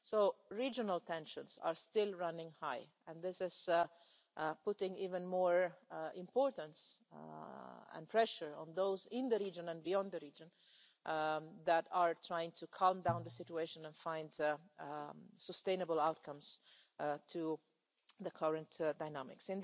So, regional tensions are still running high, and this is putting even more importance and pressure on those in the region and beyond the region who are trying to calm down the situation and find sustainable outcomes to the current dynamics.